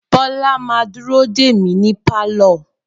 Bola ma dúró dè mí ní pálọ̀